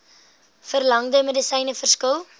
verlangde medisyne verskil